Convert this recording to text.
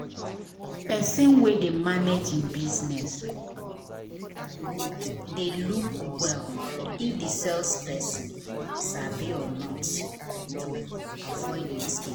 person wen dey manage e business dey look well if the sales person sabi or not to avoid mistake.